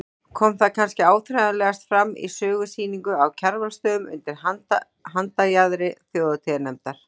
Kom það kannski áþreifanlegast fram í sögusýningu á Kjarvalsstöðum undir handarjaðri þjóðhátíðarnefndar.